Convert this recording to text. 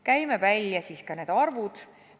Käime siis välja ka need arvud.